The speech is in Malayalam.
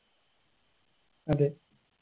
അതെ